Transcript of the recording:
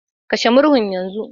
Kashe murhun yanzu